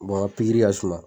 ka suma.